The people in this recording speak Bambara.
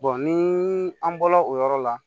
ni an bɔla o yɔrɔ la